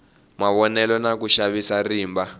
mavonelo na ku xavisa rimba